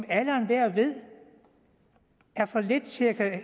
alle og enhver ved er for lidt til at